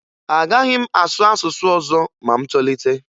Agaghị m asụ asụsụ ọzọ ma m tolite